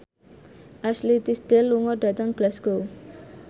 Ashley Tisdale lunga dhateng Glasgow